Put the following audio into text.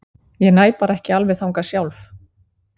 Ég næ bara ekki alveg þangað sjálf.